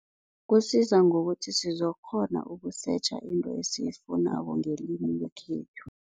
Kusiza ngokuthi sizokukghona ukusetjha into esiyifunako ngelimi lekhethu.